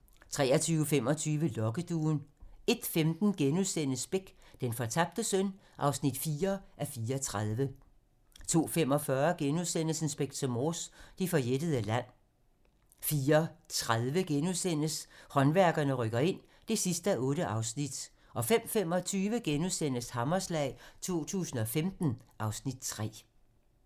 23:25: Lokkeduen 01:15: Beck: Den fortabte søn (4:34)* 02:45: Inspector Morse: Det forjættede land * 04:30: Håndværkerne rykker ind (8:8)* 05:25: Hammerslag 2015 (Afs. 3)*